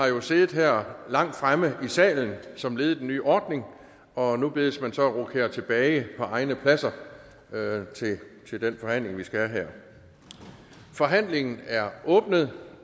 jo har siddet her langt fremme i salen som led i den nye ordning og nu bedes man så rokere tilbage på egne pladser til den forhandling vi skal have her forhandlingen er åbnet